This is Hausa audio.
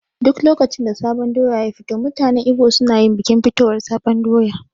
Duk lokacin da sabon doya ya fito mutanen Igbo su nayin bikin fitowar sabon doya